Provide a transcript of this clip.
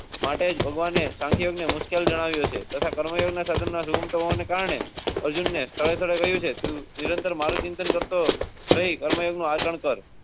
માટે ભગવાન હૈ મુશ્કિલ જણાવ્યું છે તથા કરો. અર્જુન ને. મારું ચિંતન કરતો રહે.